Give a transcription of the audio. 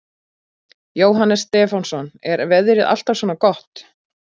Jóhannes Stefánsson: Er veðrið alltaf svona gott?